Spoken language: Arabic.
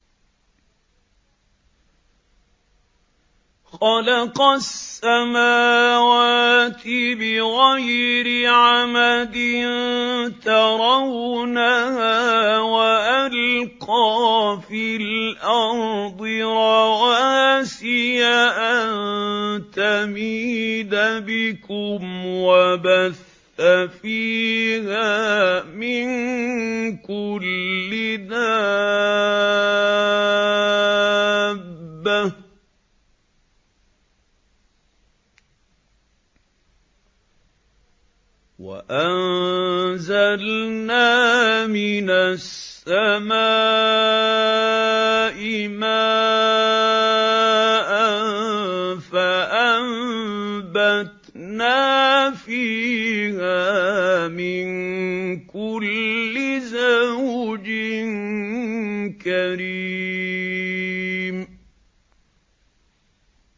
خَلَقَ السَّمَاوَاتِ بِغَيْرِ عَمَدٍ تَرَوْنَهَا ۖ وَأَلْقَىٰ فِي الْأَرْضِ رَوَاسِيَ أَن تَمِيدَ بِكُمْ وَبَثَّ فِيهَا مِن كُلِّ دَابَّةٍ ۚ وَأَنزَلْنَا مِنَ السَّمَاءِ مَاءً فَأَنبَتْنَا فِيهَا مِن كُلِّ زَوْجٍ كَرِيمٍ